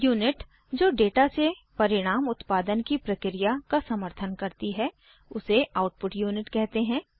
unit जो data से परिणाम उत्पादन की प्रक्रिया का समर्थन करती है उसे आउटपुट यूनिट कहते हैं